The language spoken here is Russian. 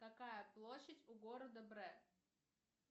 какая площадь у города брэ